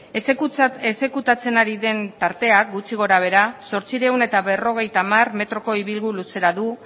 exekutatzen ari den partea gutxi gora behera zortziehun eta berrogeita hamar metroko ibilgu luzera du